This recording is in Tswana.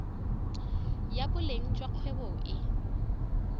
ya boleng jwa kgwebo e